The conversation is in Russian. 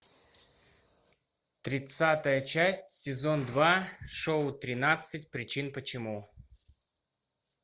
тридцатая часть сезон два шоу тринадцать причин почему